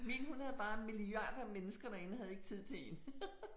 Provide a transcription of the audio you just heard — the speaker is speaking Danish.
Min hun havde bare milliarder mennesker derinde og havde ikke tid til en